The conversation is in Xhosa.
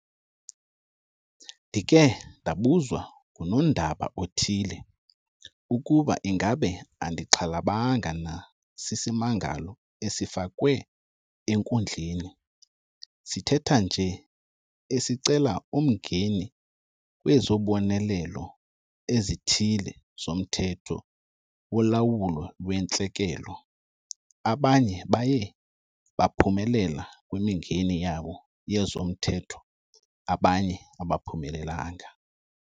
Ndikhe ndabuzwa ngunondaba othile ukuba ingaba andixhalabanga na sisimangalo esifakwe enkundleni sithetha nje esicela umngeni kwizobonelelo ezithile zoMthetho woLawulo lweNtlekele. Abanye baye baphumelela kwimingeni yabo yezomthetho abanye abaphumelelanga.